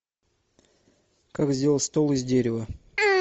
как сделать стол из дерева